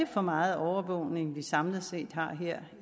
for meget overvågning vi samlet set har her